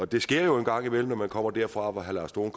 det sker jo en gang imellem når man kommer derfra hvor herre lars dohn